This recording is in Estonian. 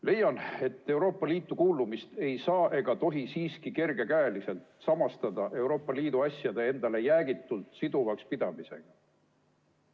Leian, et Euroopa Liitu kuulumist ei saa ega tohi siiski kergekäeliselt samastada Euroopa Liidu asjade endale jäägitult siduvaks pidamisega.